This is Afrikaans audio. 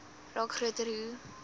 raak groter hoe